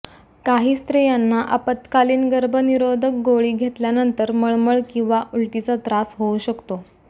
काही स्त्रियांना आपत्कालीन गर्भनिरोधक गोळी घेतल्यानंतर मळमळ किंवा उलटीचा त्रास होऊ शकतो